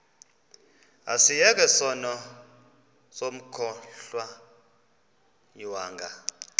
asiyeke sono smgohlwaywanga